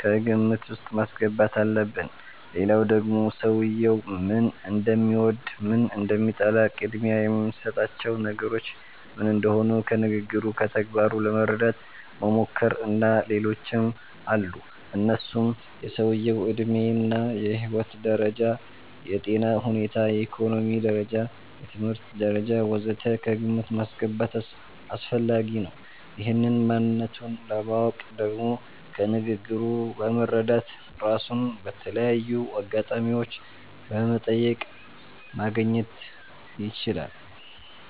ከግምት ዉስጥ ማስገባት አለብን ሌላዉ ደግሞ ሰዉየዉ ምን እንደሚወድ፣ ምን እንደሚጠላ፣ ቅድሚያ የሚሰጣቸው ነገሮች ምን እንደሆኑ ከንግግሩ፣ ከተግባሩ ለመረዳት መሞከር። እና ሌሎችም አሉ እነሱም የሰዉየዉ ዕድሜ እና የህይወት ደረጃ፣ የጤና ሁኔታ፣ የኢኮኖሚ ደረጃ፣ የትምህርት ደረጃ ወ.ዘ.ተ ከግምት ማስገባት አስፈላጊ ነዉ። ይህን ማንነቱን ለማወቅ ደግሞ ከንግግሩ በመረዳት፣ ራሱን በተለያዩ አጋጣሚዎች በመጠየቅ ማግኘት ይቻላል